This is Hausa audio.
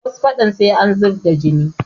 Wasu faɗa sai an zub da jini